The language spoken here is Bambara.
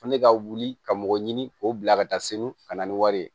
Fo ne ka wuli ka mɔgɔ ɲini k'o bila ka taa segu ka na ni wari ye